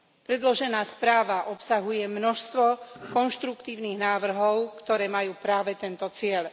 Predložená správa obsahuje množstvo konštruktívnych návrhov, ktoré majú práve tento cieľ.